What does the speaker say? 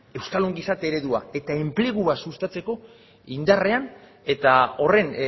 euskal ongizate eredua eta enplegua sustatzeko indarrean eta horren